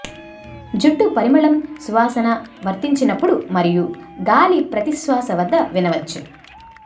జుట్టు పరిమళం సువాసన వర్తించినప్పుడు మరియు గాలి ప్రతి శ్వాస వద్ద వినవచ్చు